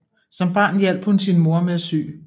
Som barn hjalp hun sin mor med at sy